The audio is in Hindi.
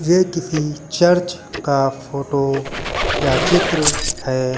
ये किसी चर्च का फोटो या चित्र है।